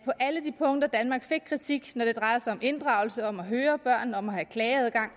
de punkter hvor danmark fik kritik når det drejer sig om inddragelse om at høre børn om at have klageadgang